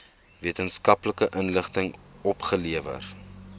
wetenskaplike inligting opgelewer